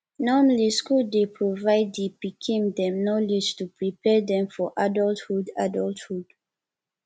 normally school dey provide di pikim dem knowledge to prepare dem for adulthhood adulthhood